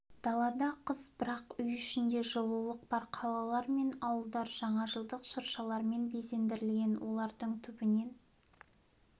далада қыс бірақ үй ішінде жылулық бар қалалар мен ауылдар жаңа жылдық шыршалармен безендірілген олардың түбінен